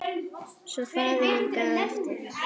Svo faðir minn gaf eftir!